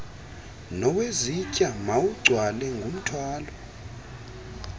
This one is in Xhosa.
nowezitya mawugcwale ngumthwalo